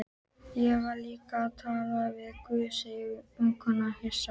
Ég var líka að tala við guð, sagði vinkonan hissa.